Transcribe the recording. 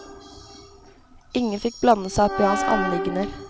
Ingen fikk blande seg opp i hans anliggender.